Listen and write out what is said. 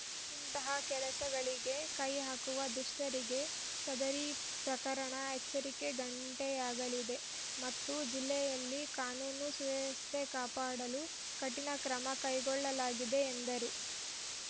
ಇಂತಹ ಕೆಲಸಗಳಿಗೆ ಕೈಹಾಕುವ ದುಷ್ಟರಿಗೆ ಸದರಿ ಪ್ರಕರಣ ಎಚ್ಚರಿಕೆ ಘಂಟೆಯಾಗಲಿದೆ ಮತ್ತು ಜಿಲ್ಲೆಯಲ್ಲಿ ಕಾನೂನು ಸುವ್ಯವಸ್ಥೆ ಕಾಪಾಡಲು ಕಠಿಣ ಕ್ರಮ ಕೈಗೊಳ್ಳಲಾಗಿದೆ ಎಂದರು